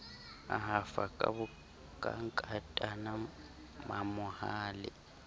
a hafa ka nkatana mamohale